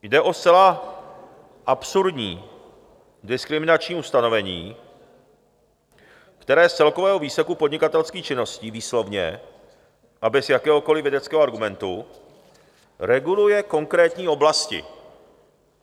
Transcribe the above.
Jde o zcela absurdní diskriminační ustanovení, které z celkového výseku podnikatelských činností výslovně a bez jakéhokoliv vědeckého argumentu reguluje konkrétní oblasti.